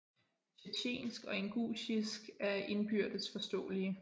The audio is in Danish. Tjetjensk og ingusjisk er indbyrdes forståelige